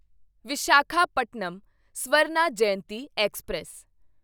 Visakhapatnam Swarna Jayanti express